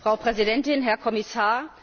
Frau Präsidentin, Herr Kommissar!